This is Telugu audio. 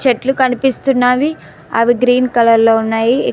చెట్లు కనిపిస్తున్నావి అవి గ్రీన్ కలర్ లో ఉన్నాయి.